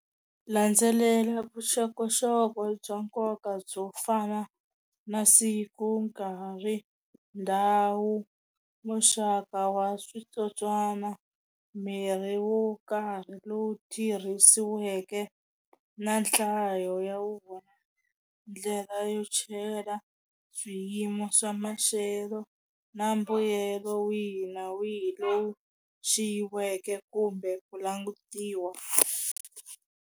Landzelela vuxokoxoko bya nkoka byo fana na siku, nkarhi, ndhawu, muxaka wa switsotswana, mirhi wo karhi lowu tirhisiweke na nhlayo ya wona, ndlela yo chela swiyimo swa maxelo na mbuyelo wihi na wihi loyi xiyiweke kumbe ku langutiwa.